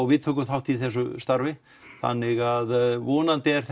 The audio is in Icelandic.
við tökum þátt í þessu starfi þannig að vonandi er